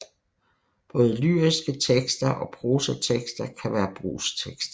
Både lyriske tekster og prosatekster kan være brugstekster